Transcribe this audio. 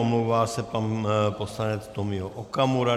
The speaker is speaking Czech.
Omlouvá se pan poslanec Tomio Okamura.